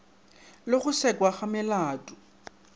le go sekwa ga melato